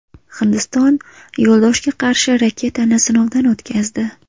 Hindiston yo‘ldoshga qarshi raketani sinovdan o‘tkazdi.